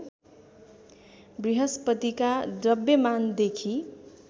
बृहस्पतिका द्रव्यमानदेखि